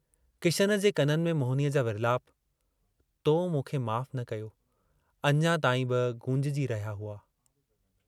किशन जे कननि में मोहिनीअ जा विर्लाप तो मूंखे माफ़ न कयो" अञा ताईं बि गूंजजी रहिया हुआ।